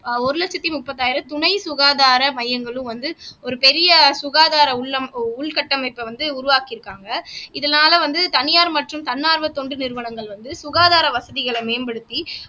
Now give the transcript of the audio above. ஆஹ் ஒரு லட்சத்தி முப்பதாயிரம் துணை சுகாதாரம் மையங்களும் வந்து ஒரு பெரிய சுகாதாரம் உள்ளம் உள்கட்டமைப்ப வந்து உருவாக்கி இருக்காங்க இதனால வந்து தனியார் மற்றும் தன்னார்வ தொண்டு நிறுவனங்கள் சுகாதார வசதிகளை மேம்படுத்தி